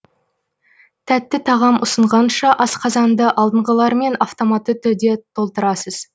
тәтті тағам ұсынғанша асқазанды алдыңғылармен автоматты түрде толтырасыз